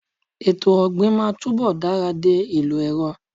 Etò ọ̀gbìnmáa túnbọ̀ dara dé ìlò ẹ̀rọ.